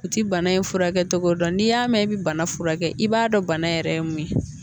U ti bana in furakɛ cogo dɔn n'i y'a mɛn i bi bana furakɛ i b'a dɔn bana yɛrɛ ye mun ye